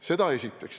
Seda esiteks.